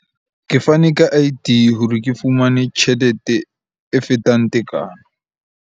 Ke fane ka I_D hore ke fumane tjhelete e fetang tekano.